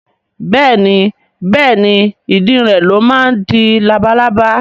Bẹ́ẹ̀ni Bẹ́ẹ̀ni ìdin rẹ̀ ló máa ń di labalábá